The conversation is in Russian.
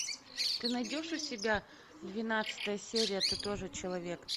ты найдешь у себя двенадцатая серия ты тоже человек